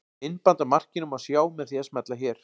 Myndband af markinu má sjá með því að smella hér